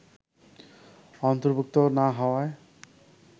অন্তর্ভুক্ত না হওয়ায়